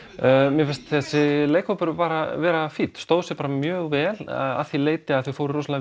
mér fannst þessi leikhópur bara fínn stóðu sig bara mjög vel að því leyti að þau fóru